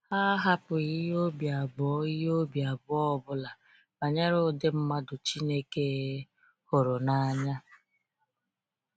Ha ahapụghị ihe obi abụọ ihe obi abụọ ọbụla banyere ụdị mmadụ Chineke hụrụ n’anya.